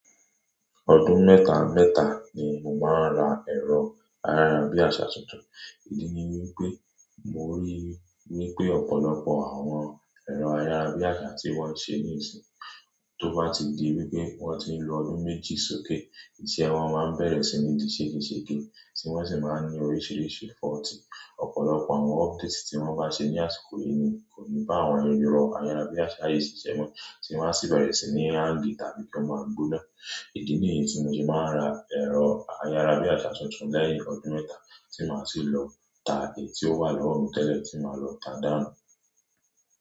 Ọdún mẹ́ta mẹ́ta ni mo màá ra ẹ̀rọ ayárabíàṣá tuntun. Ìdí ni wípé mo rí wípé ọ̀pọ̀lọpọ̀ àwọn ẹ̀rọ ayárabíàṣá tí wón ṣe ní ìsìn yii tó bá ti di wípé wón ti ń lo ọdún méjì sókè iṣẹ́ wọ́n máa bẹ̀rẹ̀ sí ní di sege sege ti wọ́n sì máa ń ní oríṣiríṣi fault. Ọ̀pọ̀lọpọ̀ àwọn updates tí wọ́n bá ṣe ní àsìkò yìí ni kò ní bá àwọn erọ̀ ayárabíàṣá yìí ṣe iṣẹ́ mọ́ tí wọ́n a sì bẹ̀rẹ̀ sí ní hang tàbí kí wọ́n máa gbóná. Ìdí nìyí tí mo ṣe máa ra ẹ̀rọ ayárabíàṣá tuntun lẹ́yìn ọdún mẹ́ta tí màá sì lọ ta èyí tí ó wà lọ́wọ́ mi tẹ́lẹ̀ tí màá lọ ta dànù.